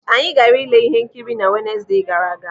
Anyị gaara ile ihe nkiri na Wenesde gara aga.